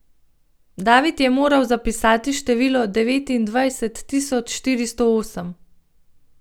David je moral zapisati število devetindvajset tisoč štiristo osem.